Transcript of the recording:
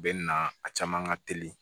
U bɛ na a caman ka teli